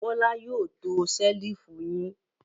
Bọ́lá yóò to ṣẹ́lífù yín.